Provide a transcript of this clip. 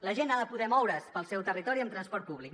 la gent ha de poder moure’s pel seu territori amb transport públic